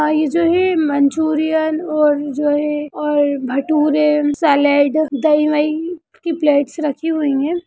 यहां जो है मंचूरियन और जो है और भटूरे और सलाडे दही-वयी की प्लेट्स